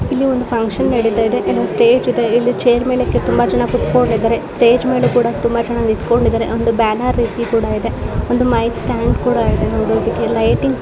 ಇಲ್ಲಿ ಒಂದು ಫಂಕ್ಷನ್ ನೆಡಿತಾ ಇದೆ ಏನೋ ಒಂದು ಸ್ಟೇಜ್ ಇದೆ ಚೇರ್ ಮೇಲೆ ತುಂಬಾ ಜನ ಕುತ್ಕೊಂಡಿದರೆ. ಸ್ಟೇಜ್ ಮೇಲೆ ತುಂಬಾ ಜನ ನಿಂತುಕೊಂಡಿದ್ದಾರೆ ಒಂದು ಬ್ಯಾನರ್ ರೀತಿ ಇದೆ ಒಂದು ಮೈಕ್ ಸ್ಟ್ಯಾಂಡ್ ಕೂಡ ಇದೆ ಲೈಟಿಂಗ್ --